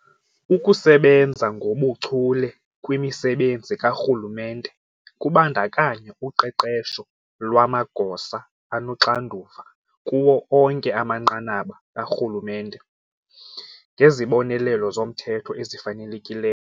Ukusebenza ngobuchule kwimisebenzi karhulumente kubandakanya uqeqesho lwamagosa anoxanduva kuwo onke amanqanaba karhulumente ngezibonelelo zomthetho ezifanelekile.